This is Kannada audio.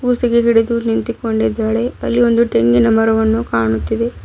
ಕುಸಿಗೆ ಹಿಡಿದು ನಿಂತಿಕೊಂಡಿದ್ದಾಳೆ ಅಲ್ಲಿ ಒಂದು ಟೆಂಗಿನ ಮರವನ್ನು ಕಾಣುತ್ತಿದೆ .